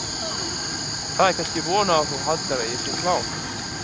Það er kannski von að þú haldir að ég sé klár.